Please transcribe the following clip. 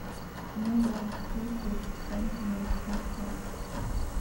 кино гравити фолз третий сезон семнадцатая часть